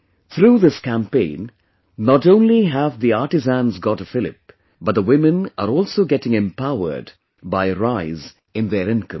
Through this campaign, not only have the artisans got a fillip, but the women are also getting empowered by a rise in their income